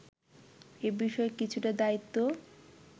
এ বিষয়ে কিছুটা দায়িত্ব